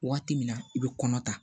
Waati min na i bɛ kɔnɔ ta